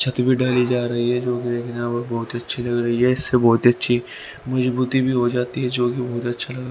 छत भी धारी जा रही है जो देखने में बहुत अच्छी लग रही है इससे बहुत अच्छी मजबूती भी हो जाती है जो की बहुत अच्छा लगा--